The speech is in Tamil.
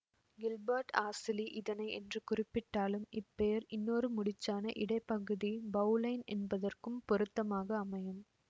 கில்பர்ட் ஆசிலி இதனை என்று குறிப்பிட்டாலும் இப்பெயர் இன்னொரு முடிச்சான இடைப்பகுதி பௌலைன் என்பதற்கும் பொருத்தமாக அமையும்